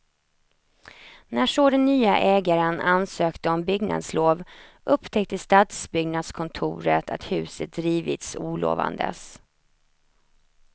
När så den nya ägaren ansökte om byggnadslov upptäckte stadsbyggnadskontoret att huset rivits olovandes.